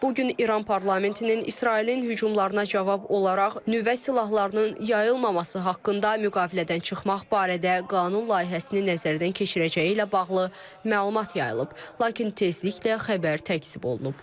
Bu gün İran parlamentinin İsrailin hücumlarına cavab olaraq nüvə silahlarının yayılmaması haqqında müqavilədən çıxmaq barədə qanun layihəsini nəzərdən keçirəcəyi ilə bağlı məlumat yayılıb, lakin tezliklə xəbər təkzib olunub.